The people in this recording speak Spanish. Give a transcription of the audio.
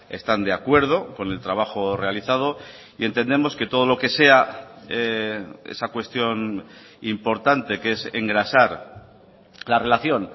están de acuerdo con el trabajo realizado y entendemos que todo lo que sea esa cuestión importante que es engrasar la relación